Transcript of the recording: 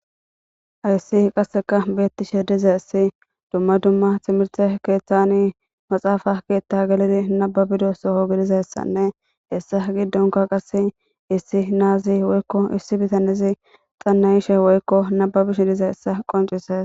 Hayissi qasseka beettishe diza issi dumma dumma timirte keeththani maxaafa keethta gelidi nababido soo gidizayssanne hessa giddonka qasse issi naazi woykko issi bitanizi xannayishe woykko nababishe diza yssa qoncises